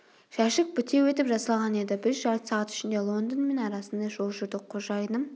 жәшік бітеу етіп жасалған еді біз жарты сағат ішінде лондон мен арасындай жол жүрдік қожайыным